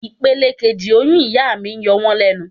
Ipele kejì oyún ìyá mi yọ wón lẹ́nu.